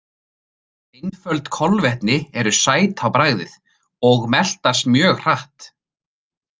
Einföld kolvetni eru sæt á bragðið og meltast mjög hratt.